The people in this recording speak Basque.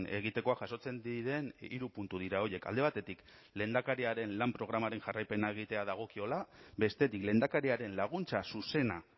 egitekoa jasotzen diren hiru puntu dira horiek alde batetik lehendakariaren lan programaren jarraipena egitea dagokiola bestetik lehendakariaren laguntza zuzena